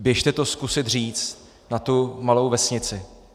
Běže to zkusit říct na tu malou vesnici.